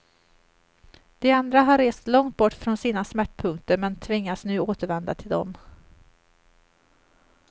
De andra har rest långt bort från sina smärtpunkter men tvingas nu återvända till dem.